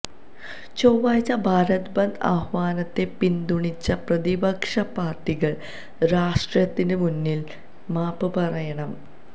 ചൊവ്വാഴ്ച ഭാരത് ബന്ദ് ആഹ്വാനത്തെ പിന്തുണച്ച പ്രതിപക്ഷ പാർട്ടികൾ രാഷ്ട്രത്തിന് മുന്നിൽ മാപ്പ് പറയണം